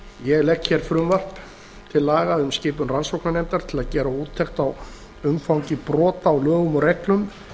ég legg hér fram frumvarp til laga um skipun rannsóknarnefndar til að gera úttekt á umfangi brota á lögum og reglum